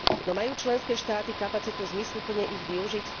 No majú členské štáty kapacitu zmysluplne ich využiť?